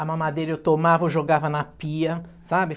A mamadeira eu tomava, eu jogava na pia, sabe?